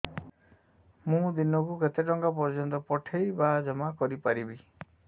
ମୁ ଦିନକୁ କେତେ ଟଙ୍କା ପର୍ଯ୍ୟନ୍ତ ପଠେଇ ବା ଜମା କରି ପାରିବି